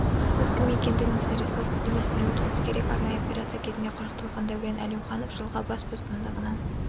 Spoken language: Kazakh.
сіз кім екендігіңізді растау сілтемесіне өтуіңіз керек арнайы операция кезінде құрықталған дәурен әлеуіанов жылға бас бостандығынан